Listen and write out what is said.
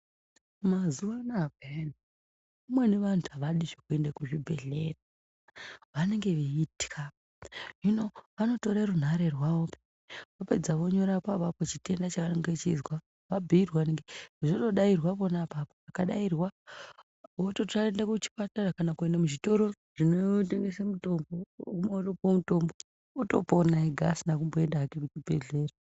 Mazuwa anaya peya amweni vantu havadi zvekuenda kuzvibhehleya vanenge veikhwa hino vanotora runhare rwavo vopedza vonyora apapo chitenda chavanenge veinzwa vabhiirwa zvinodairwa pona apapo zvikadairwa votoenda kuchipatara kana kuchitoro zvinotengesa mutombo wotopona usina kuenda kuchibhehleya .